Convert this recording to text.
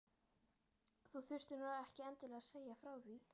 Þú þurftir nú ekki endilega að segja frá því